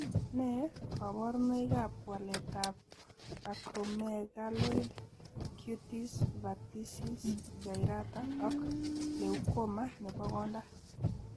Nee kabarunoikab waletab Acromegaloid, cutis verticis gyrata ak Leukoma nebo konda.